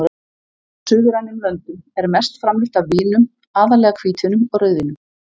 suðrænum löndum er mest framleitt af vínum, aðallega hvítvínum og rauðvínum.